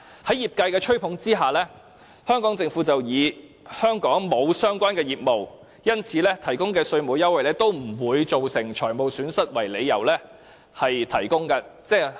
在業界的吹捧之下，香港政府以香港沒有相關業務，因此提供的稅務優惠不會造成財務損失為由，建議提供優惠。